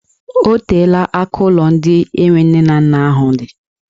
Ọ teela aka ụlọ ndị enwe nne na nna ahụ dị.